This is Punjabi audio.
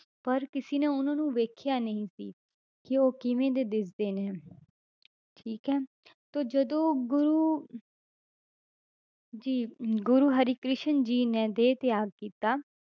ਪਰ ਕਿਸੇ ਨੇ ਉਹਨਾਂ ਨੂੰ ਵੇਖਿਆ ਨਹੀਂ ਸੀ ਕਿ ਉਹ ਕਿਵੇਂ ਦੇ ਦਿਖਦੇ ਨੇ ਠੀਕ ਹੈ ਤਾਂ ਜਦੋਂ ਗੁਰੂ ਜੀ ਗੁਰੂ ਹਰਿਕ੍ਰਿਸ਼ਨ ਜੀ ਨੇ ਦੇਹ ਤਿਆਗੀ ਤਾਂ